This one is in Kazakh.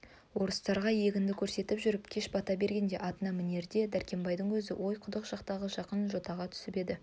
орыстарға егінді көрсетіп жүріп кеш бата бергенде атына мінерде дәркембайдың көзі ойқұдық жақтағы жақын жотаға түсіп еді